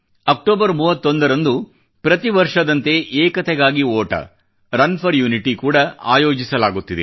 October 31 ರಂದು ಪ್ರತಿ ವರ್ಷದಂತೆ ಏಕತೆಗಾಗಿ ಓಟ ರನ್ ಫೋರ್ ಯುನಿಟಿ ಕೂಡಾ ಆಯೋಜಿಸಲಾಗುತ್ತಿದೆ